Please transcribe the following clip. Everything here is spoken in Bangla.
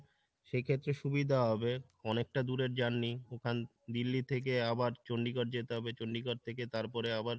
সে ক্ষেত্রে সুবিধা হবে। অনেকটা দূরের journey ওখান দিল্লি থেকে আবার চন্ডিগড় যেতে হবে চন্ডিগড় থেকে তারপরে আবার